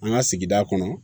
An ka sigi kɔnɔ